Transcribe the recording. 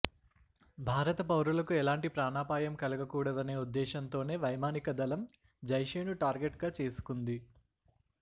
భారత పౌరులకు ఎలాంటి ప్రాణాపాయం కలగకూడదనే ఉద్దేశంతోనే వైమానిక దళం జైషె ను టార్గెట్ గా చేసుకుంది